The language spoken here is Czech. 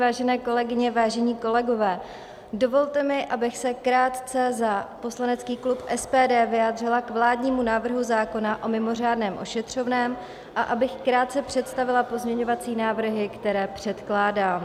Vážené kolegyně, vážení kolegové, dovolte mi, abych se krátce za poslanecký klub SPD vyjádřila k vládnímu návrhu zákona o mimořádném ošetřovném a abych krátce představila pozměňovací návrhy, které předkládám.